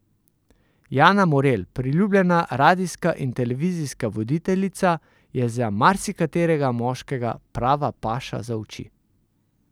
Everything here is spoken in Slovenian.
Jana Morelj, priljubljena radijska in televizijska voditeljica, je za marsikaterega moškega prava paša za oči.